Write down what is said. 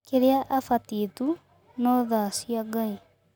Kĩrĩa abatiĩ tu no thaa cia ngai